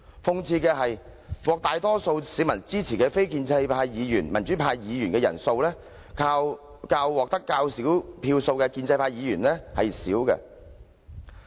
諷刺的是，獲大多數市民支持的非建制派或民主派議員的人數，較獲得較少票數的建制派議員少。